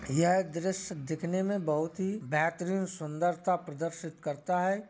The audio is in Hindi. यह एक दृश्य दिखने मे बहुत ही बेहतरीन सुन्दर सा प्रदर्शित करता है।